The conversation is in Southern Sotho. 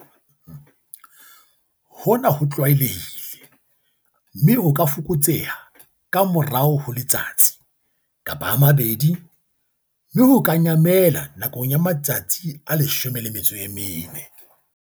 0Hona ho tlwaelehile, mme ho ka fokotseha ka morao ho letsatsi, kapa a mabedi, mme ho ka nyamela nakong ya matsatsi a 14.